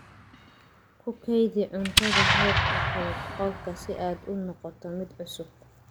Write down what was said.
Ku kaydi cuntada heerkulka qolka si aad u noqoto mid cusub.